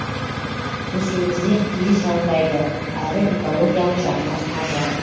білсеңіздер киіз жанбайды әрі экологиялық жағынан таза